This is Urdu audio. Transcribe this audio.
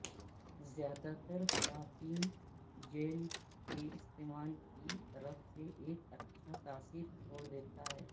زیادہ تر خواتین جیل کے استعمال کی طرف سے ایک اچھا تاثر چھوڑ دیا ہے